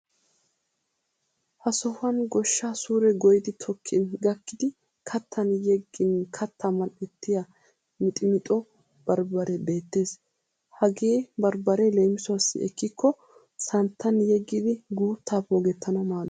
Ha sohuwan goshshaa suure goyyidi tokkin gakkidi kattan yeggin kattaa mal'ettiya miximixo barbbaree beettes. Hagee barbbaree leemisuwaassi ekkikko santtan yeggidi guuttaa poogettanawu maaddes.